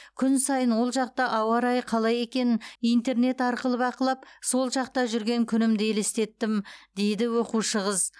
күн сайын ол жақта ауа райы қалай екенін интернет арқылы бақылап сол жақта жүрген күнімді елестеттім дейді оқушы қыз